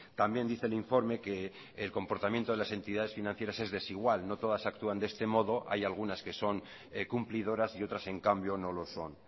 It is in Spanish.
también dice el informe que el comportamiento de las entidades financieras es desigual no todas actúan de este modo hay algunas que son cumplidoras y otras en cambio no lo son